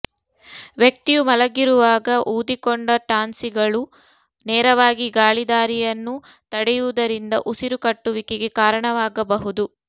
ವ್ಯಕ್ತಿಯು ಮಲಗಿರುವಾಗ ಊದಿಕೊಂಡ ಟಾನ್ಸಿಲ್ಗಳು ನೇರವಾಗಿ ಗಾಳಿದಾರಿಯನ್ನು ತಡೆಯುವುದರಿಂದ ಉಸಿರುಕಟ್ಟುವಿಕೆಗೆ ಕಾರಣವಾಗಬಹುದು